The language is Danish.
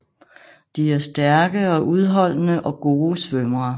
De er stærke og udholdende og gode svømmere